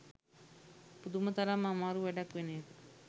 පුදුම තරම් අමාරු වැඩක් වෙන එක.